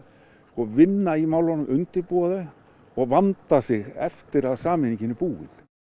vinna í málunum undirbúa þau og vanda sig eftir að sameiningin er búin